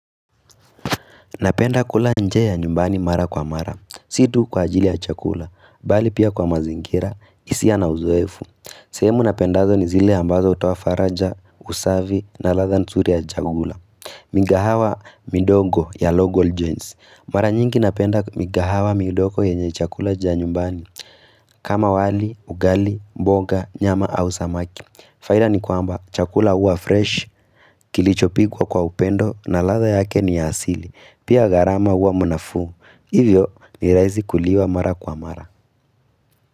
Napenda kula nje ya nyumbani mara kwa mara. Situ kwa ajili ya chakula, bali pia kwa mazingira, isiya na uzoefu. Sehemu napendazo ni zile ambazo hutowa faraja, usavi, na latha nsuri ya chakula. Mingahawa midogo ya logo ljones. Mara nyingi napenda mingahawa midogo ya nje chakula ya nyumbani. Kama wali, ugali, mboga, nyama au samaki. Faida ni kwamba, chakula uwa fresh, kilicho pigwa kwa upendo, na latha yake ni ya asili. Pia garama uwa munafuu Hivyo niraizi kuliwa mara kwa mara.